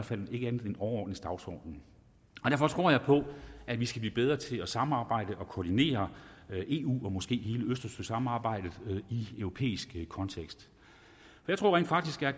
fald en overordnet dagsorden og derfor tror jeg på at vi skal blive bedre til at samarbejde og koordinere eu og måske hele østersøsamarbejdet i en europæisk kontekst jeg tror rent faktisk at